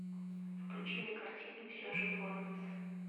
включи мне картину и все же лоранс